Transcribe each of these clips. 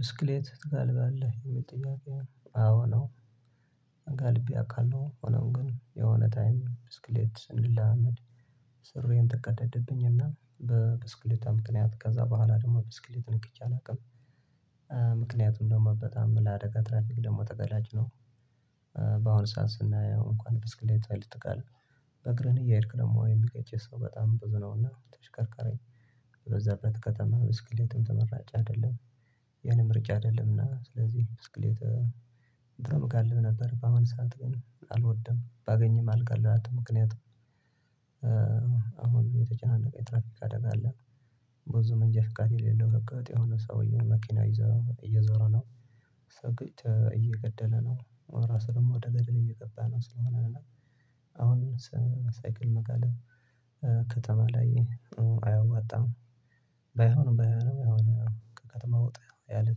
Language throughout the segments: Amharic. ብስክሌት ትጋልባለህ? ሚል ጥያቄ አዎ ነው። ጋልቤ አውቃለሁ ሆኖም ግን የሆነ ታይም ብስክሌት ስንለማመድ ሱሪዬን ተቀደደብኝ እና በብስክሌታ ምክንያት ከዛ በኋላ ደግሞ ብስክሌት ነክቼ አላውቅም። ምክንያቱን ደግሞ በጣም ለአደጋ ትራፊክ ደግሞ ተገላጭ ነው። በአሁኑ ሰዓት ስናየው እንኳን ብስክሌት ላይ ልትጋልብ በእግርህን እያሄድክ ደግሞ የሚገጭህ ሰው በጣም ብዙ ነውና ተሽከርካሪ በበዛበት ከተማ ብስክሌት ተመራጭ አይደለም። ያኔ ምርጫ አይደለምና ስለዚህ ብስክሌት ድሮ እጋልብ ነበር በአሁን ሰዓት ግን አልወድም ባገኝም አልጋልባትም ምክንያት አሁን የተጨናነቀ የትራፊክ አደጋ አለ ብዙ መንጃ ፍቃድ የሌለው ህገ ወጥ የሆነ ሰውዬ መኪና ይዞ እየዞረ ነው፣ ሰው ገጭቶ እየገደለ ነው፣ ራሱንም ወደ ገደል እየገባ ነው ስለሆነ አሁን ሳይክል መጋለብ ከተማ ላይ ጥሩ አያዋጣም ባይሆንም ባይሆንም ከተማ ወጣ ያለ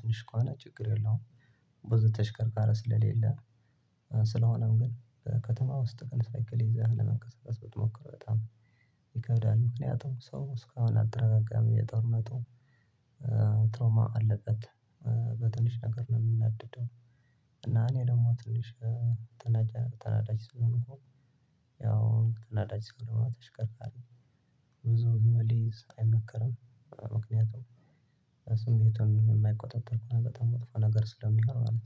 ትንሽ ከሆነ ችግር የለውም። ብዙ ተሽከርካረ ስለሌለ ስለሆነም ግን ከከተማ ውስጥ ሳይክል ይዘህ ለመንቀሳቀስ ብትሞክር በጣም ይከብዳል ምክንያቱም ሰው እስካሁን አትረጋጋም የጦርነቱ ትሮማ አለበት በትንሽ ነገር ነው ሚናደደው እና እኔ ደግሞ ትንሽ ተናዳጅ ስለሆኩ ያው ተናዳጅ ስንሆን ተሽከርካሪ ብዙ ልይዝ አይመከርም ምክንያቱም ስሜቱን የማይቆጣጠር እና በጣም ወጥፎ ነገር ስለሚሆን ማለት ነው።